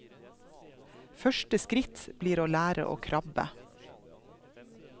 Første skritt blir å lære å krabbe.